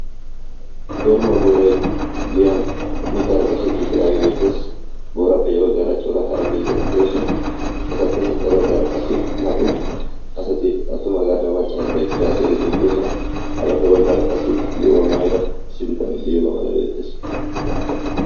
korima booray giyan mittaara qashetti uttidaagee beettees booraappe ya baggaara coora hara miizati doosona etappe sintta baggaara qassi naa''u asati attumagaaranne maccaariira eqidi haassayiyaageeti bettoosona ha bagga baggara qassi zo'uwaa maayida issi bitanee liyoogaa malay beettees